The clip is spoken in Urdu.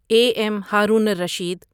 a M Haroon ur Rashid